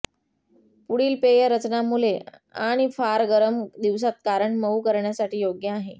पुढील पेय रचना मुले आणि फार गरम दिवसांत कारण मऊ करण्यासाठी योग्य आहे